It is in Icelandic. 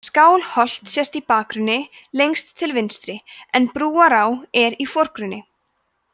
skálholt sést í bakgrunni lengst til vinstri en brúará er í forgrunni